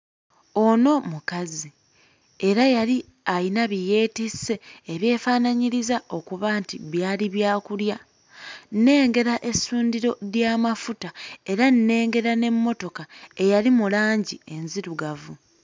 Ono mukazi era yali alina bye yeetisse ebyefaanaanyiriza okuba nti byali byakulya. Nnengera essundiro ly'amafuta era nnengera n'emmotoka eyali mu langi enzirugavu.